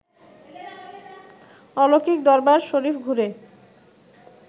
অলৌকিক দরবার শরিফ ঘুরে